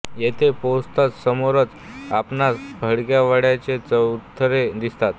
येथे पोहोचताच समोरच आपणास पडक्या वाडय़ाचे चौथरे दिसतात